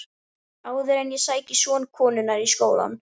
Áður en ég sæki son konunnar í skólann.